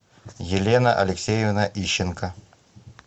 елена алексеевна ищенко